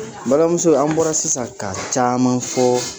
N balimuso an bɔra sisan ka caman fɔ .